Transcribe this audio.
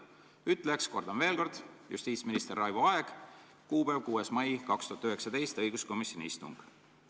" Ütleja, kordan veel, justiitsminister Raivo Aeg, kuupäev 6. mai 2019, õiguskomisjoni istung.